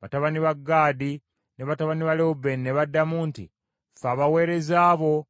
Batabani ba Gaadi ne batabani ba Lewubeeni ne baddamu nti, “Ffe abaweereza bo